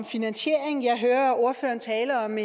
finansiering jeg hører ordføreren tale om